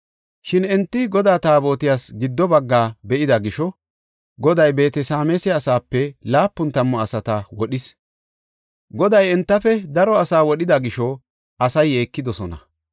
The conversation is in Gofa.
Shin enti Godaa Taabotiyas giddo baggaa be7ida gisho Goday Beet-Sameesa asaape laapun tammu asata wodhis. Goday entafe daro asaa wodhida gisho asay yeekidosona.